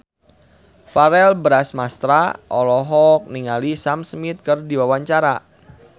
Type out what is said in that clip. Verrell Bramastra olohok ningali Sam Smith keur diwawancara